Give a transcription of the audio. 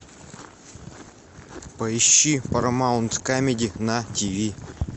поищи парамаунт камеди на тиви